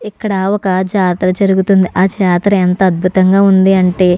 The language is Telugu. ఇక్కడ ఒక జాతర జరుగుతుంది ఆ జాతర ఎంత అద్భుతంగా వుందంటే --